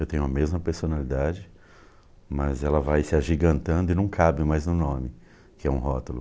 Eu tenho a mesma personalidade, mas ela vai se agigantando e não cabe mais no nome, que é um rótulo.